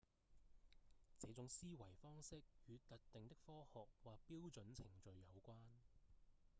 這種思維方式與特定的科學或標準程序有關